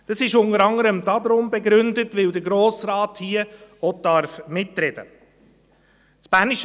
Dies ist unter anderem damit begründet, dass der Grosse Rat hier auch mitreden darf.